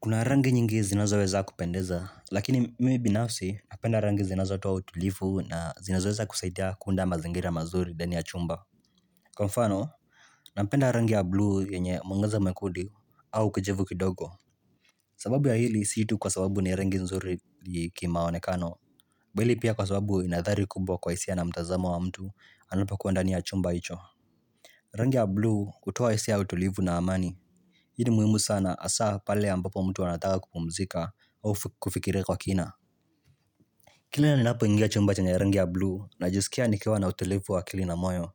Kuna rangi nyingi zinazoweza kupendeza, lakini mimi binafsi napenda rangi zinazotoa utulivu na zinazoweza kusaidia kuunda mazingira mazuri ndani ya chumba. Kwa mfano, napenda rangi ya blue yenye mwangaza mwekundu au kijivu kidogo. Sababu ya hili, si tu kwa sababu ni rangi nzuri kimaonekano. Bali pia kwa sababu inadhari kubwa kwa hisia na mtazamo wa mtu anapakua ndani ya chumba hicho. Rangi ya blue hutoa hisia utulivu na amani. Hii ni muhimu sana hasaa pale ambapo mtu anataka kupumzika au kufikiria kwa kina. Kila naninapo ingia chumba chenye rangi ya blue najisikia nikiwa na utulivu wa akili na moyo.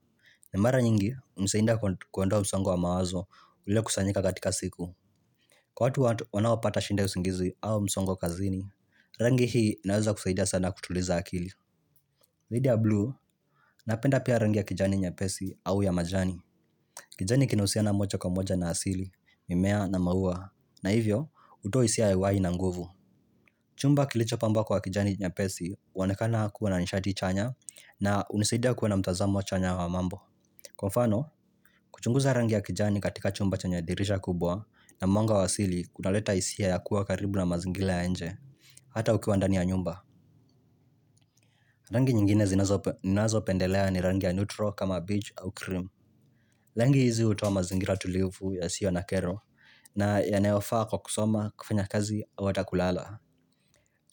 Na mara nyingi, hunisainda kuondoa msongo wa mawazo ule kusanyika katika siku. Kwa watu wanao pata shinda usingizi au msongo kazini, rangi hii naweza kusaidia sana kutuliza akili. Lidha ya blue, napenda pia rangi ya kijani nyepesi au ya majani. Kijani kinausiana moja kwa moja na asili, mimea na maua. Na hivyo, hutoa hisia ya uhai na nguvu. Chumba kilicho pamba kwa kijani nyepesi huonekana kuwa na nishati chanya na unisidia kuwa na mtazamo chanya wa mambo. Kwa mfano, kuchunguza rangi ya kijani katika chumba chanye dirisha kubwa na mwanga wa asili kunaleta hisia ya kuwa karibu na mazingira ya inje, hata ukiwa ndani ya nyumba. Rangi nyingine zinazopendelea ni rangi ya neutro kama baige au cream. Rangi hizi hutoa mazingira tulivu yasio na kero na yanayofa kwa kusoma kufanya kazi ama ata kulala.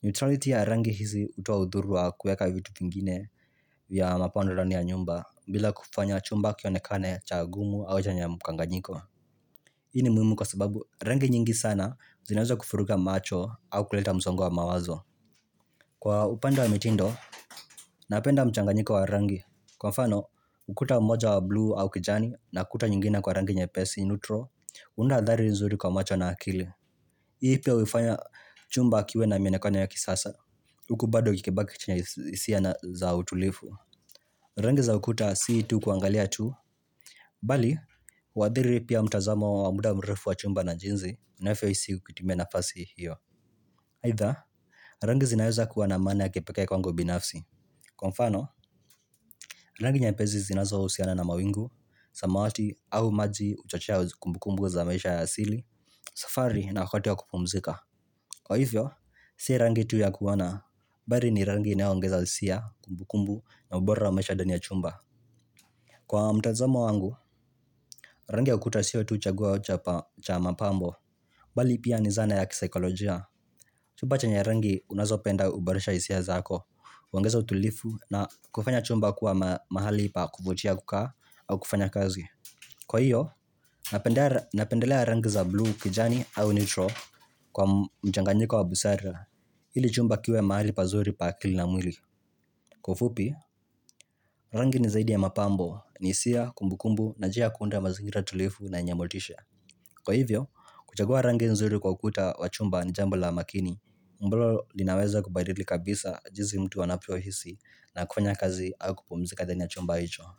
Neutrality ya rangi hizi hutoa udhuru wa kueka vitu kingine vya mapomdo ndani ya nyumba bila kufanya chumba kionekane cha gumu au chenye mkanganyiko hii ni muhimu kwa sababu rangi nyingi sana zinaweza kuvuruga macho au kuleta msongo wa mawazo Kwa upanda wa mitindo, napenda mchanganyiko wa rangi Kwa mfano, ukuta moja wa blue au kijani na kuta nyingine kwa rangi nyepesi neutro unda adhari nzuri kwa macho na akili Hii pia huifanya chumba kiwe na mionekano ya kisasa huku bado ikibaki chenye hisia na zao tulifu Rangi za ukuta si tu kuangalia tu Bali, huadhiri pia mtazamo wa muda mrefu wa chumba na jinsi navyo hisi ukitimia nafasi hiyo aidha, rangi zinaeza kuwa na maana ya kepeke kwangu binafsi Kwa mfano, rangi nyepesi zinazo husiana na mawingu samawati, au maji, uchochea zikumbukumbu za maisha ya sili safari na wakati wa kupumzika Kwa hivyo, si rangi tu ya kuona Bali ni rangi inaongeza hisia kumbu kumbu na ubora wa maisha ndani ya chumba Kwa mtazamo wangu, rangi ya ukuta sio tu chagua cha mapambo Bali pia ni zana ya kisaikolojia Chumba chenye rangi unazo penda uboresha hisia zako uongeza utulivu na kufanya chumba kuwa mahali pa kuvutia kukaa au kufanya kazi Kwa hiyo, napendelea rangi za blue kijani au neutral kwa mchanganyiko wa busara ili chumba kiwe mahali pazuri pa akili na mwili Kwa ufupi, rangi ni zaidi ya mapambo ni hisia, kumbu kumbu na njia ya kuunda mazingira tulifu na yenye motisha Kwa hivyo, kuchagua rangi nzuri kwa ukuta wa chumba ni jambo la makini ambalo linaweza kubadili kabisa jinsi mtu anavyo hisi na kufanya kazi au kupumzika ndani ya chumba hicho.